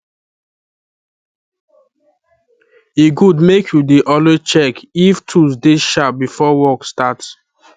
e good make you dey always check if tools dey sharp before work start